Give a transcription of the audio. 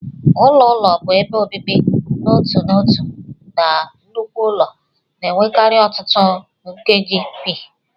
Ụlọ ụlọ bụ ebe obibi n'otu n'otu na nnukwu ụlọ, na-enwekarị ọtụtụ nkeji.p